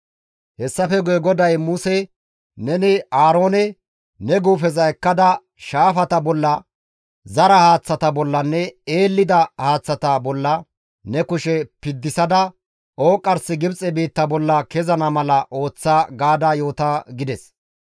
Hessafe guye GODAY Muse, «Neni Aaroone, ‹Ne guufeza ekkada, shaafata bolla, zara haaththata bollanne eellida haaththata bolla ne kushe piddisada ooqqarsi Gibxe biitta bolla kezana mala ooththa› gaada yoota» gides.